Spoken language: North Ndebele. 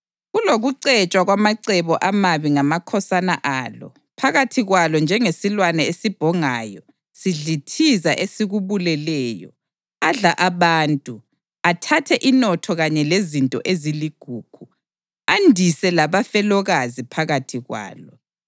Kulokucetshwa kwamacebo amabi ngamakhosana alo phakathi kwalo njengesilwane esibhongayo sidlithiza esikubuleleyo; adla abantu, athathe inotho kanye lezinto eziligugu, andise labafelokazi phakathi kwalo.